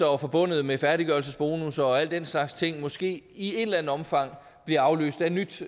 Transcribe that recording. var forbundet med færdiggørelsesbonusser og alle den slags ting måske i et eller andet omfang bliver afløst af et nyt